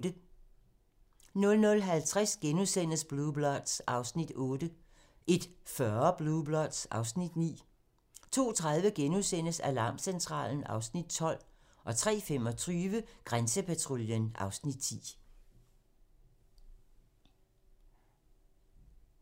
00:50: Blue Bloods (Afs. 8)* 01:40: Blue Bloods (Afs. 9) 02:30: Alarmcentralen (Afs. 12)* 03:25: Grænsepatruljen (Afs. 10)